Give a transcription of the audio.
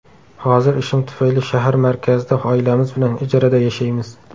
Hozir ishim tufayli shahar markazida oilamiz bilan ijarada yashaymiz.